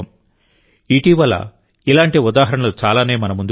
ఇటీవల ఇలాంటి ఉదాహరణలు చాలానే మన ముందుకు వచ్చాయి